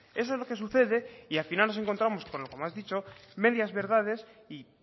eso es lo que sucede y al final nos encontramos como has dicho medias verdades y